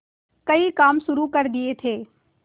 कई काम शुरू कर दिए थे